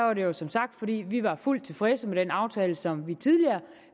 var det jo som sagt fordi vi var fuldt tilfredse med den aftale som vi tidligere